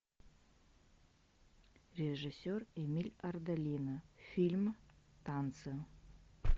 режиссер эмиль ардолино фильм танцы